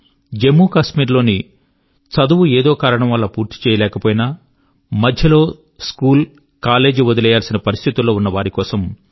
జమ్ము కశ్మీర్ లోని చదువు ఏదో కారణం వల్ల పూర్తి చేయలేకపోయినా మధ్యలో స్కూలు కాలేజ్ వదిలివేయాల్సిన పరిస్థితి లో ఉన్న వారికోసం